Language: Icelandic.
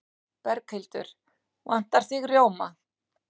Berghildur: Vantar þig rjóma?